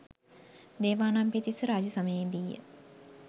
දේවානම්පියතිස්ස රාජ්‍ය සමයේ දීය